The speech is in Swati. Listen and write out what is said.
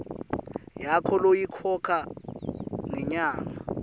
yakho loyikhokha ngenyanga